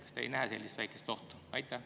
Kas te ei näe sellist väikest ohtu?